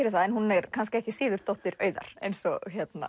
en hún er kannski ekki síður dóttir Auðar eins og